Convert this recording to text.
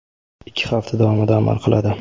ikki hafta davomida amal qiladi.